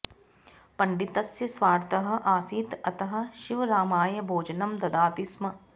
पण्डितस्य स्वार्थः आसीत् अतः शिवरामाय भोजनं ददाति स्म